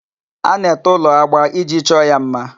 A na-ete ụlọ agba iji chọọ ya mma.